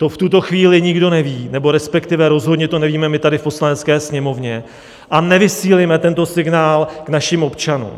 To v tuto chvíli nikdo neví nebo respektive rozhodně to nevíme my tady v Poslanecké sněmovně a nevysílejme tento signál k našim občanům.